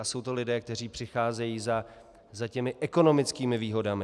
A jsou to lidé, kteří přicházejí za těmi ekonomickými výhodami.